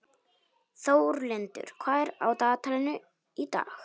Þórlindur, hvað er á dagatalinu í dag?